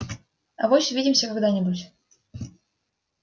авось увидимся когда-нибудь